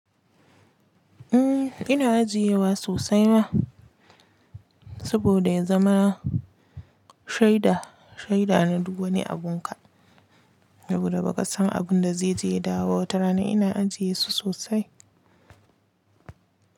Umm, ina ajiyewa sosai ma, saboda ya zama shaida, shaida na duk wani abun ka, saboda ba ka san abun da zai je yadawo wata rana. Ina ajiye su sosai.